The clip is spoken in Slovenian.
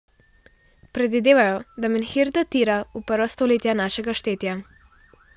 Predvidevajo, da menhir datira v prva stoletja našega štetja.